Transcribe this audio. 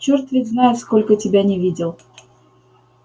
чёрт ведь знает сколько тебя не видел